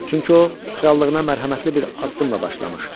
Çünki o krallığına mərhəmətli bir addımla başlamış.